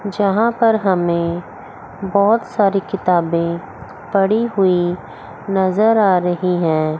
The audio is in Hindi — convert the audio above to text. यहां पर हमें बहुत सारी किताबें पड़ी हुई नजर आ रही है।